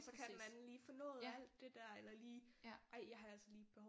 Så kan den anden lige få nået alt det der eller lige ej jeg har altså lige et behov